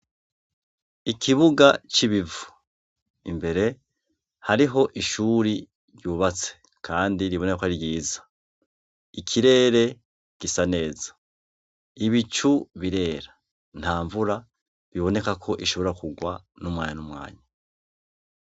Ikibuga c'ibivu. Imbere hariho ishuri ryubatse kandi riboneka ko ari ryiza. Ikirere gisa neza. Ibicu birera nta mvura iboneka ko ishobora kugwa umwanya n'umwanya.